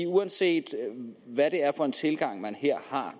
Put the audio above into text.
uanset hvad det er for en tilgang man her har